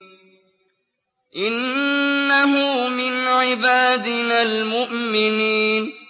إِنَّهُ مِنْ عِبَادِنَا الْمُؤْمِنِينَ